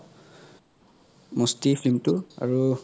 মস্তি film তো আৰু